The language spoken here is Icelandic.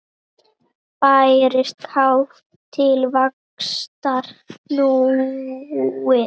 Bærist kát til vaxtar snúin.